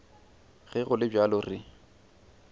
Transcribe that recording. ge go le bjalo re